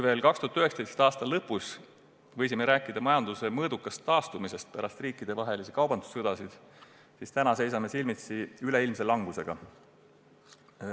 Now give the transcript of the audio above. Veel 2019. aasta lõpus võisime rääkida majanduse mõõdukast taastumisest pärast riikidevahelisi kaubandussõdasid, seevastu täna seisame silmitsi üleilmse langusega.